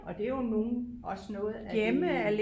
Og det er jo nogle også noget af det